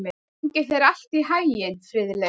Gangi þér allt í haginn, Friðleif.